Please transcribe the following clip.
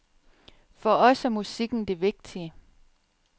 For os er musikken det vigtige.